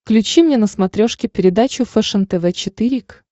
включи мне на смотрешке передачу фэшен тв четыре к